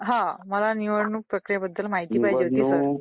हो मला निवडणूक प्रक्रियेबद्दल माहिती पाहिजे